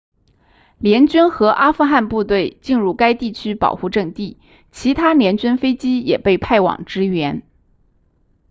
联军和阿富汗部队进入该地区保护阵地其他联军飞机也被派往支援